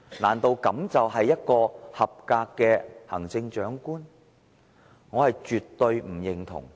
難道這就是一個合格的行政長官嗎？